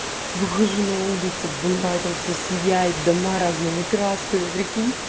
выхожу на улице в этом вся сияет дома разными красками прикиньте